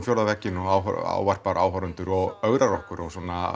fjórða vegginn og ávarpar áhorfendur og ögrar okkur og